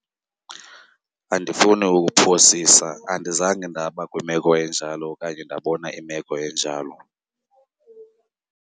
Andifuni ukuphosisa andizange ndaba kwimeko enjalo okanye ndabona imeko enjalo.